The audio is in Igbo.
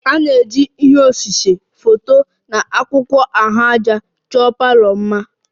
A na-eji ihe osise, foto na akwụkwọ ahụaja chọọ mma palour